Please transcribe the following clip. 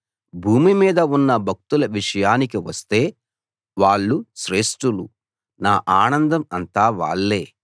భూమి మీద ఉన్న భక్తుల విషయానికి వస్తే వాళ్ళు శ్రేష్టులు నా ఆనందం అంతా వాళ్ళే